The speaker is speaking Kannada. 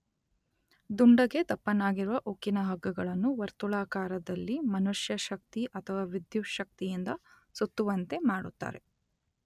ದುಂಡಗೆ ದಪ್ಪನಾಗಿರುವ ಉಕ್ಕಿನ ಹಗ್ಗಗಳನ್ನು ವರ್ತುಳಾಕಾರದಲ್ಲಿ ಮನುಷ್ಯಶಕ್ತಿ ಅಥವಾ ವಿದ್ಯುತ್ಶಕ್ತಿಯಿಂದ ಸುತ್ತುವಂತೆ ಮಾಡುತ್ತಾರೆ.